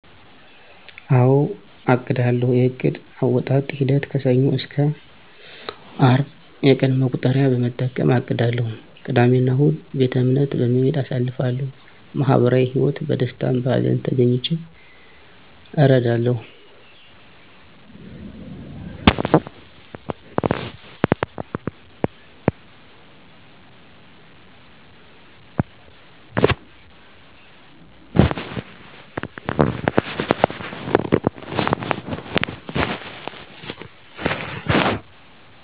አወ አቅዳለሁ የዕቅድ አወጣጥ ሂደቴ ከሰኞ እስከ አርብ የቀን መቁጠሪያ በመጠቀም አቅዳለሁ ቅዳሜ እና እሁድ ቤተእምነት በመሄድ አሳልፋለሁ ማህበራዊ ህይወት በደስታም በሀዘንም ተገኝቼ እረዳለሁ